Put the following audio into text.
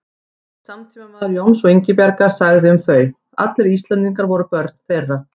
Einn samtímamaður Jóns og Ingibjargar sagði um þau: Allir Íslendingar voru börn þeirra